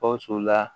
Gawusu la